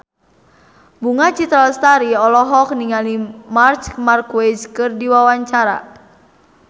Bunga Citra Lestari olohok ningali Marc Marquez keur diwawancara